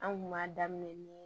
An kun b'a daminɛ ni